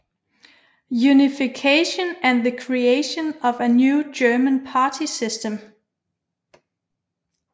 Unification and the Creation of a New German Party System